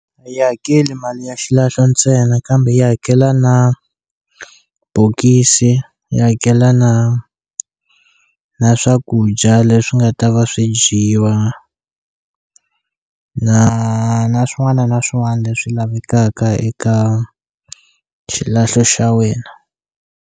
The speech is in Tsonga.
A yi hakeli mali ya xilahlo ntsena kambe yi hakela na bokisi yi hakela na na swakudya leswi nga ta va swi dyiwa na na swin'wana na swin'wana leswi lavekaka eka xilahlo xa wena.